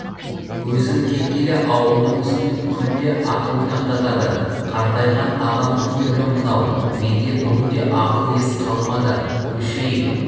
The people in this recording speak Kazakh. өзің кеткелі ауылдың үстінен күнде ат ойнақтатады қартайған ағаңның түрі мынау менде бүгінде ақыл-ес қалмады көшейік